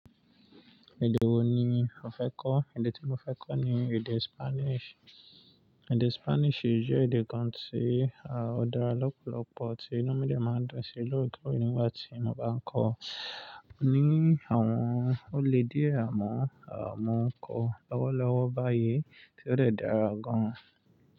Èdè wo ni o fẹ́ kọ́? Èdè tí mo fẹ́ kọ́ ni èdè Spanish. Èdè Spanish jẹ́ èdè kan tí a ò dára lọ́pọ̀lọpọ̀, tí inu mi ò máa dun sí i lọ́wọ́ ikú oníwà tí mo bá ń kọ. Ó ní àwọn olè di ẹ̀ẹ̀ àmọ́, mọ́n kò lọ́wọ́lọ́wọ́ báyìí tí ó dàra gan.